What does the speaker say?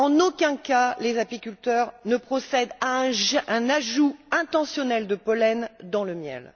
En aucun cas, les apiculteurs ne procèdent à un ajout intentionnel de pollen dans le miel.